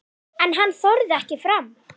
En hann þorði ekki fram.